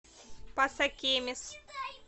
пасакемис